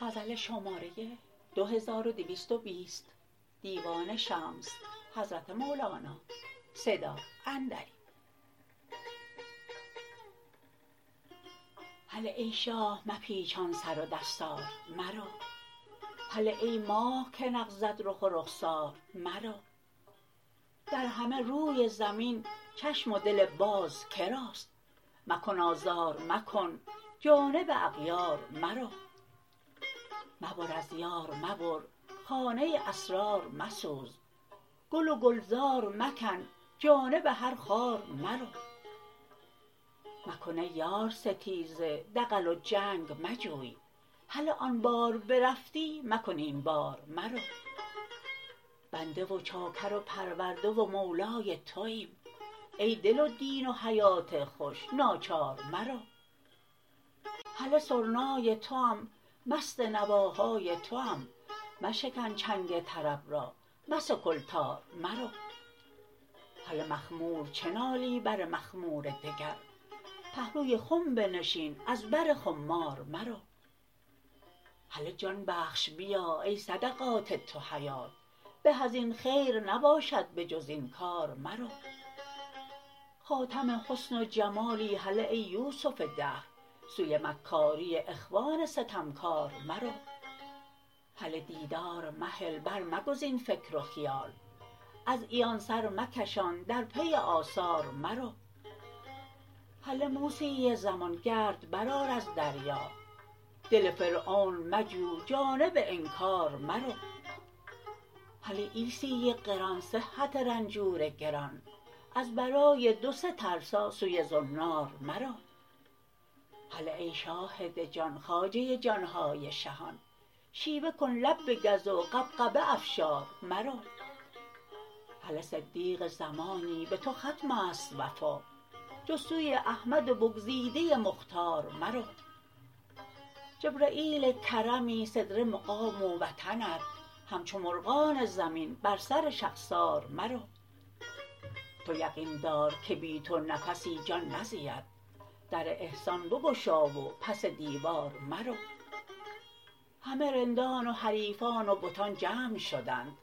هله ای شاه مپیچان سر و دستار مرو هله ای ماه که نغزت رخ و رخسار مرو در همه روی زمین چشم و دل باز که راست مکن آزار مکن جانب اغیار مرو مبر از یار مبر خانه اسرار مسوز گل و گلزار مکن جانب هر خار مرو مکن ای یار ستیزه دغل و جنگ مجوی هله آن بار برفتی مکن این بار مرو بنده و چاکر و پرورده و مولای توایم ای دل و دین و حیات خوش ناچار مرو هله سرنای توام مست نواهای توام مشکن چنگ طرب را مسکل تار مرو هله مخمور چه نالی بر مخمور دگر پهلوی خم بنشین از بر خمار مرو هله جان بخش بیا ای صدقات تو حیات به از این خیر نباشد به جز این کار مرو خاتم حسن و جمالی هله ای یوسف دهر سوی مکاری اخوان ستمکار مرو هله دیدار مهل برمگزین فکر و خیال از عیان سر مکشان در پی آثار مرو هله موسی زمان گرد برآر از دریا دل فرعون مجو جانب انکار مرو هله عیسی قران صحت رنجور گران از برای دو سه ترسا سوی زنار مرو هله ای شاهد جان خواجه جان های شهان شیوه کن لب بگز و غبغبه افشار مرو هله صدیق زمانی به تو ختم است وفا جز سوی احمد بگزیده مختار مرو جبرییل کرمی سدره مقام و وطنت همچو مرغان زمین بر سر شخسار مرو تو یقین دار که بی تو نفسی جان نزید در احسان بگشا و پس دیوار مرو همه رندان و حریفان و بتان جمع شدند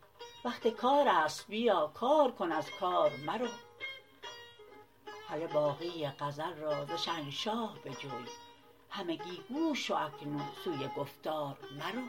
وقت کار است بیا کار کن از کار مرو هله باقی غزل را ز شهنشاه بجوی همگی گوش شو اکنون سوی گفتار مرو